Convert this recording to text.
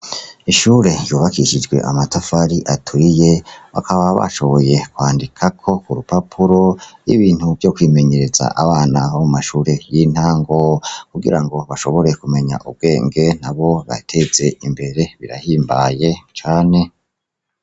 Ishure ryubakishijwe amatafari aturiye, bakaba bashoboye kwandikako kurupapuro ibintu vyo kwimenyereza abana bo mumashure y'intango ,kugira bashobore kumenya ubwenge nabo biteze imbere birahimbaye cane.